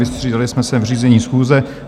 Vystřídali jsme se v řízení schůze.